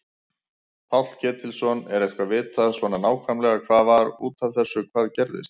Páll Ketilsson: Er eitthvað vitað svona nákvæmlega hvað var út af þessu hvað gerðist?